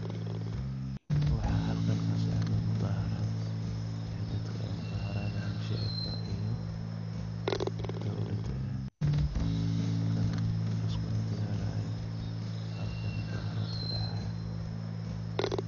Waxaa halkan kasocdaa mudaaharaad, dadka aay mudaaharaadayaan shicibka iyo dowlada, kana liskuna dagaali haayo, halkan mudaaharaad ayaa kadici haaya.